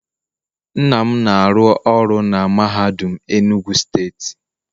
Nna m na-aru oru na mahadum enugu state